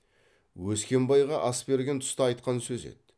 өскембайға ас берген тұста айтқан сөзі еді